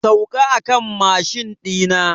Sauka a kan mashin ɗi na!